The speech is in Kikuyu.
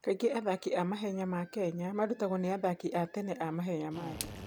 Kaingĩ athaki a mahenya ma Kenya marutagwo nĩ athaki a tene a mahenya ma thĩ.